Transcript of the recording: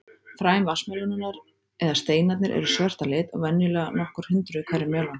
Fræ vatnsmelónunnar, eða steinarnir, eru svört að lit og venjulega nokkur hundruð í hverri melónu.